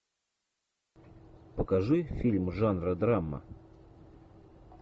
покажи фильм жанра драма